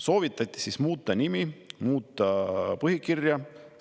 Soovitati muuta nime ja muuta põhikirja.